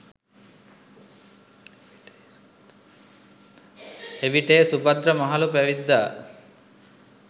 එවිට ඒ සුභද්‍ර මහළු පැවිද්දා